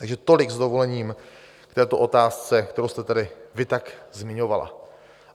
Takže tolik s dovolením k této otázce, kterou jste tady vy tak zmiňovala.